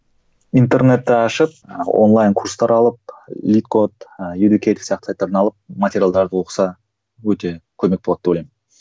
интернетті ашып онлайн курстар алып сияқты сайттардан алып материалдарды оқыса өте көмек болады деп ойлаймын